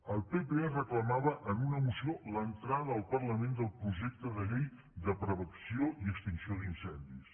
el pp reclamava en una moció l’entrada al parlament del projecte de llei de prevenció i extinció d’incendis